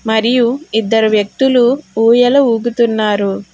మరియు ఇద్దరు వ్యక్తులు ఊయల ఊగుతున్నారు.